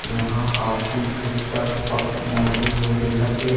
यहाँ कापी पुस्तक पक मड़हे हुए दिखत हे ।--